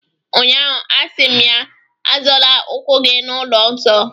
ụnyahụ, a sị m ya, Azọla ụkwụ gị n’ụlọ nsọ